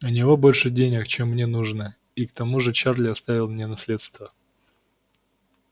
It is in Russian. у него больше денег чем мне нужно и к тому же чарли оставил мне наследство